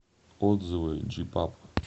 отзывы джипаб